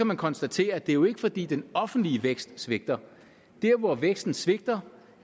man konstatere at det jo ikke er fordi den offentlige vækst svigter der hvor væksten svigter